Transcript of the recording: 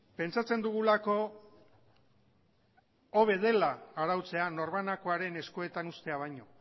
pentsatzen dugulako hobe dela arautzea norbanakoaren eskuetan uztea baino